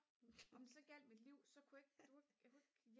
om det så gjaldt mit liv så kunne jeg ikke du ved jeg kunne ikke